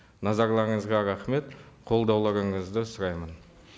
назарларыңызға рахмет қолдауларыңызды сұраймын